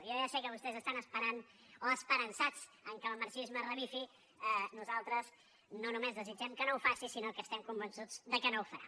jo ja sé que vostès estan esperant o esperançats que el marxisme revifi nosaltres no no·més desitgem que no ho faci sinó que estem conven·çuts que no ho farà